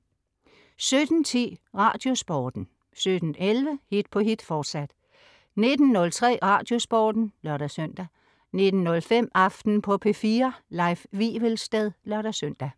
17.10 Radiosporten 17.11 Hit på hit, fortsat 19.03 Radiosporten (lør-søn) 19.05 Aften på P4. Leif Wivelsted (lør-søn)